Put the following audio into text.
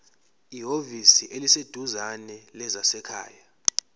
ehhovisi eliseduzane lezasekhaya